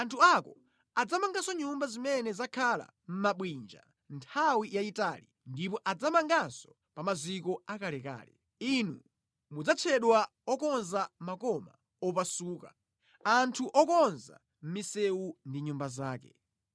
Anthu ako adzamanganso nyumba zimene zakhala mabwinja nthawi yayitali, ndipo adzamanganso pa maziko akalekale; inu mudzatchedwa okonza makoma opasuka. Anthu okonza misewu ndi nyumba zake.